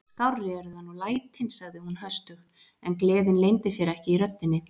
Skárri eru það nú lætin sagði hún höstug, en gleðin leyndi sér ekki í röddinni.